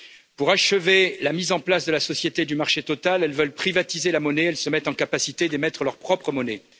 Pour achever la mise en place de la société du marché total, elles veulent privatiser la monnaie et se mettent en capacité d'émettre leur propre monnaie.